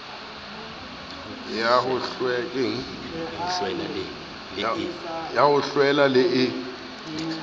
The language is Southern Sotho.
ya ho hlwela le e